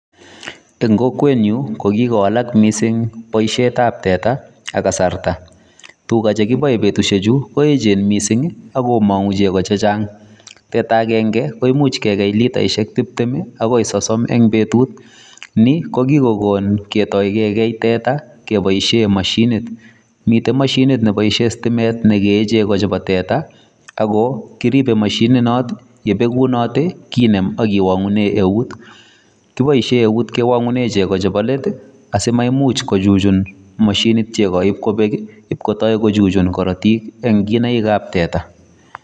en kokweny'un kokikowalak missing boisiet ab teta ak kasarta, tuga chegoboe betusiek chu koechen missing ako cheimong'u chego chechang', teta agen'ge koimuch kegei litaisiek tiptem agoi sosom en betut, ni kokikogon ketoigen kegei teta keboishien mashinit, miten moshinit neboishien stimet negee chego chebo teta ako kiribe moshinit noton yebegunote kinem ak iwong'unen eut, kiboishien eut kiwong'unen chego chebo leet asimaimuch kochuchun mashinit chego bakobek, si kotoi kochuchun korotik en kinaik ab teta.